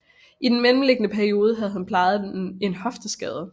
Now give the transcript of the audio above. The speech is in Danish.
I den mellemliggende periode havde han plejet en hofteskade